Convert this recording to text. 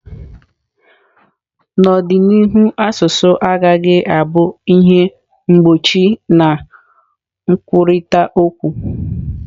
N'ọdịnihu asụsụ agaghị abụ ihe mgbochi na nkwurịta okwu.